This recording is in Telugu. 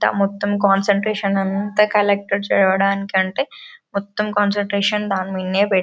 ఎంత మొత్తం కాన్సన్ట్రేషన్ అంతా కలెక్టర్ చదవడానికి అంతే మొత్తం కాన్సన్ట్రేషన్ దాని మీదే --